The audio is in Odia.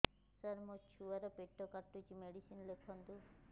ସାର ମୋର ଛୁଆ ର ପେଟ କାଟୁଚି ମେଡିସିନ ଲେଖନ୍ତୁ